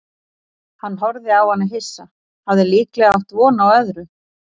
Hann horfði á hana hissa, hafði líklega átt von á öðru.